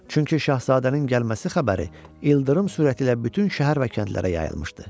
Çünki Şahzadənin gəlməsi xəbəri ildırım sürəti ilə bütün şəhər və kəndlərə yayılmışdı.